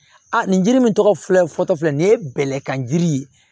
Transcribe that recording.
A nin jiri min tɔgɔ filɛ fɔtɔ filɛ nin ye bɛlɛkan jiri ye